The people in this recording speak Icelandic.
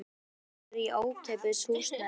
Það hjálpar mikið að hún er í ókeypis húsnæði.